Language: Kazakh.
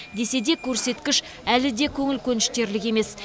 десе де көрсеткіш әлі де көңіл көншітерлік емес